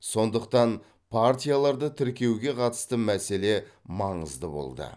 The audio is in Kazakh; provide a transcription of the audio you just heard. сондықтан партияларды тіркеуге қатысты мәселе маңызды болды